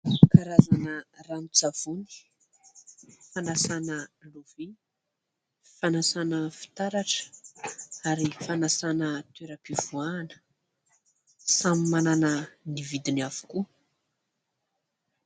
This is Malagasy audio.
Karazana ranon- tsavony fanasana lovia, fanasana fitaratra ary fanasana toeram-pivoahana samy manana ny vidiny avokoa.